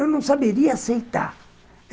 Eu não saberia aceitar.